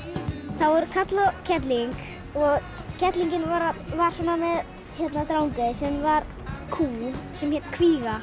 það voru karl og kerling og kerlingin var með Drangey sem var kýr sem hét kvíga